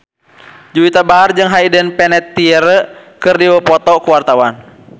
Juwita Bahar jeung Hayden Panettiere keur dipoto ku wartawan